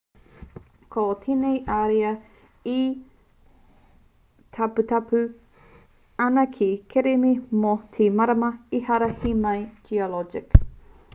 ko tēnei ariā e taupatupatu ana ki te kereme mō te marama ehara he mahi geologic